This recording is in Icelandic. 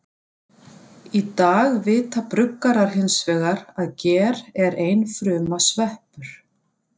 Í dag vita bruggarar hins vegar að ger er einfruma sveppur.